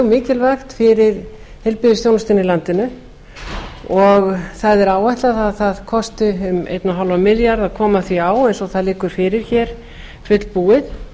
mikilvægt fyrir heilbrigðisþjónustuna í landinu og það er áætlað að það kosti um einn komma fimm milljarða að koma því á eins og það liggur fyrir fullbúið